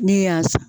Ne y'a